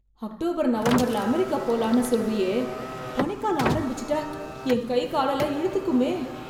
October, நவம்பர்ல America போலாம்னு சொல்றியே... பனிக்காலம் ஆரம்பிச்சிட்டா என் கை காலெல்லாம் இழுத்துக்குமே...